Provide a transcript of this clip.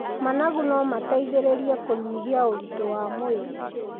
Managu no mateithĩrĩrie kũnyihia ũritũ wa mwĩrĩ.